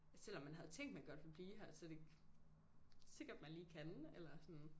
Selvom man havde tænkt man godt ville blive her så det ikke sikkert man lige kan eller sådan